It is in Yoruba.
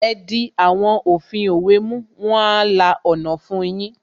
Ẹ di àwọn òfin òwe mú, wọn a la ọ̀nà fun yín